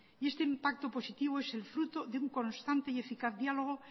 y este impacto positivo es el fruto de una constante y eficaz diálogo